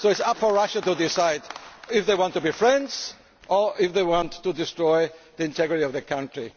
So, it is up to Russia to decide if they want to be friends or if they want to destroy the integrity of the country.